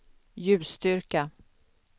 ljusstyrka